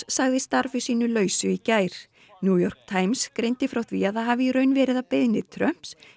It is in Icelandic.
sagði starfi sínu lausu í gær New York Times greindi frá því að það hafi í raun verið að beiðni Trumps